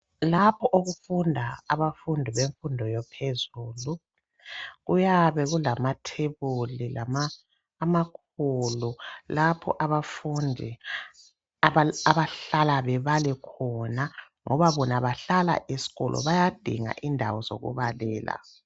Lapho okufunda abafundi bemfundo yaphezulu kuyabe kulamathebuli amakhulu lapho abafundi abahlala babale khona ngoba bona bahlala esikolo bayadinga indawo zokubalela.